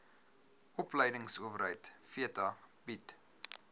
opleidingsowerheid theta bied